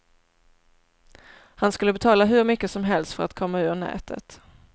Han skulle betala hur mycket som helst för att komma ur nätet.